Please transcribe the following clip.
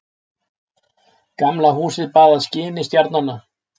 Gamla húsið baðað skini stjarnanna.